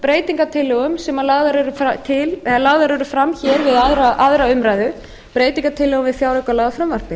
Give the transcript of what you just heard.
breytingartillögum sem lagðar eru fram hér við aðra umræðu breytingartillögum við fjáraukalagafrumvarpið